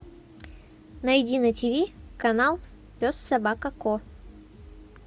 найди на тв канал пес собака ко